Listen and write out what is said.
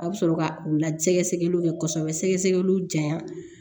A bɛ sɔrɔ ka u la sɛgɛsɛgɛliw kɛ kosɛbɛ sɛgɛsɛgɛliw diya